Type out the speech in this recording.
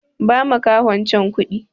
Ba makahon can kuɗi!